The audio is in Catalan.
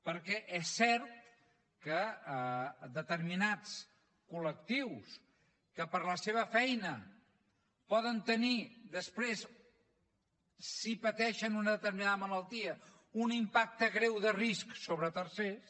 perquè és cert que determinats col·lectius que per la seva feina poden tenir després si pateixen una determinada malaltia un impacte greu de risc sobre tercers